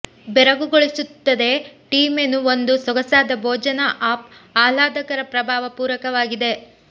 ಬೆರಗುಗೊಳಿಸುತ್ತದೆ tea menu ಒಂದು ಸೊಗಸಾದ ಭೋಜನ ಆಫ್ ಆಹ್ಲಾದಕರ ಪ್ರಭಾವ ಪೂರಕವಾಗಿದೆ